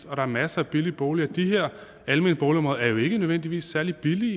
og der er masser af billige boliger og de her almene boligområder er jo ikke nødvendigvis særlig billige